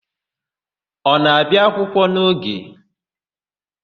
Ọ na-abịa akwụkwọ n'oge?